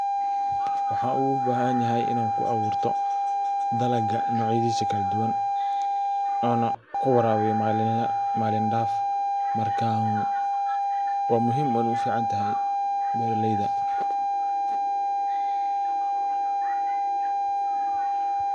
Waxa ugu ubahanyahay dalaga ina kuaburto nocayadisa kala duwan ana kuwarabiyo malin daf marka wa muhim weyna uficantahay beeraleyda.